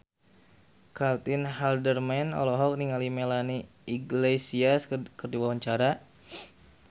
Caitlin Halderman olohok ningali Melanie Iglesias keur diwawancara